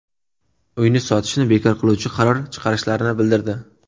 Uyni sotishni bekor qiluvchi qaror chiqarishlarini bildirdi.